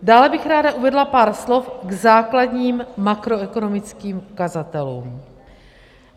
Dále bych ráda uvedla pár slov k základním makroekonomickým ukazatelům.